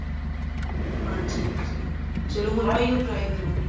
ਹਾਂਜੀ ਹਾਂਜੀ ਚਲੋ ਮੈਂ ਹੁਣ ਇਹੋ try ਕਰਾਂਗੀ